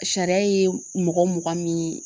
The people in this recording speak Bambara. Sariya ye mɔgɔ mugan min